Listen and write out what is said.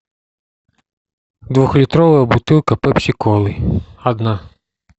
двухлитровая бутылка пепси колы одна